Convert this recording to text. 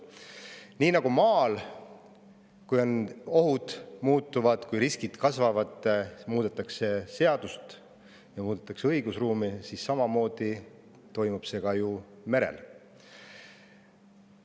Samamoodi nagu maal, kui ohud muutuvad ja riskid kasvavad, muudetakse seadusi, muudetakse õigusruumi, toimub see ka ju merel.